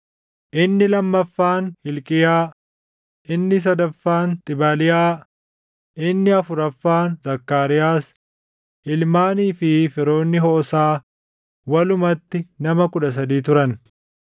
inni lammaffaan Hilqiyaa, inni sadaffaan Xibaliyaa, inni afuraffaan Zakkaariyaas. Ilmaanii fi firoonni Hoosaa walumatti nama 13 turan.